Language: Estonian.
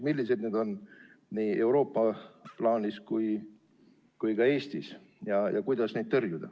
Millised need on, nii Euroopa plaanis kui ka Eestis, ja kuidas neid tõrjuda?